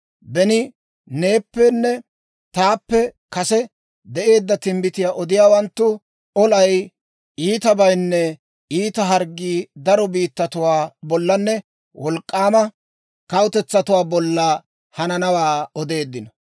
Beni neeppenne taappe kase de'eedda timbbitiyaa odiyaawanttu olay, iitabaynne iita harggiyaa daro biittatuwaa bollanne wolk'k'aama kawutetsatuwaa bolla hananawaa odeeddino.